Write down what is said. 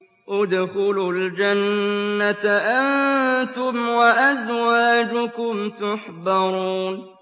ادْخُلُوا الْجَنَّةَ أَنتُمْ وَأَزْوَاجُكُمْ تُحْبَرُونَ